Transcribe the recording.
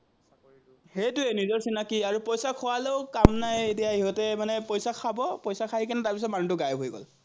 সেটোৱেই নিজৰ চিনাকি আৰু পইচা খুৱালেও কাম নাই, এতিয়া ইহঁতে মানে পইচা খাব, পইচা খাইকেনে মানুহটো তাৰপিচত গাইব হৈ গল।